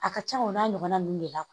A ka ca o n'a ɲɔgɔnna ninnu de la kuwa